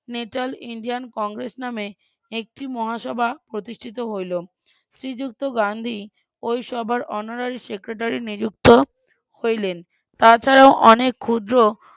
Natal Indian Congress নামে একটি মহাসভা প্রতিষ্ঠিত হইলো শ্রীযুক্ত গান্ধী ওই সভার honorary secretary নিযুক্ত হইলেন তাছাড়াও অনেক ক্ষুদ্র